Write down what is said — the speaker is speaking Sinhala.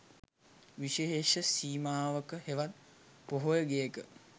විශේෂ සීමාවක හෙවත් පොහොය ගෙයක